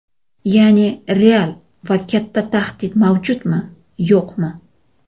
Ya’ni real va katta tahdid mavjudmi, yo‘qmi?